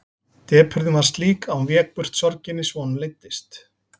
Depurðin var slík að hún vék burt sorginni svo honum leiddist.